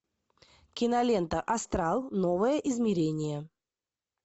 кинолента астрал новое измерение